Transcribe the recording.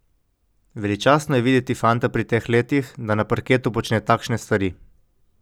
Veličastno je videti fanta pri teh letih, da na parketu počne takšne stvari.